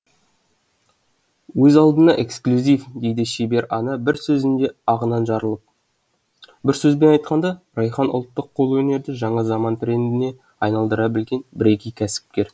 өз алдына эксклюзив дейді шебер ана бір сөзінде ағынан жарылып бір сөзбен айтқанда райхан ұлттық қолөнерді жаңа заман трендіне айналдыра білген бірегей кәсіпкер